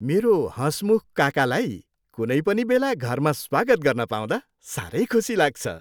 मेरो हँसमुख काकालाई कुनै पनि बेला घरमा स्वागत गर्न पाउँदा साह्रै खुसी लाग्छ।